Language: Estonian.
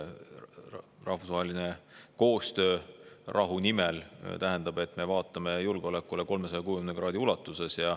Rahvusvaheline koostöö rahu nimel tähendab, et me vaatame julgeolekule 360 kraadi ulatuses.